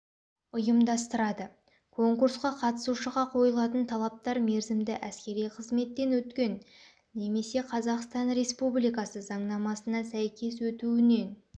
ұйымдастырады конкурсқа қатысушыға қойылатын талаптар мерзімді әскери қызметтен өткен немесе қазақстан республикасы заңнамасына сәйкес өтуінен